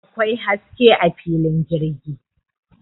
Akwai haske a filin jirgi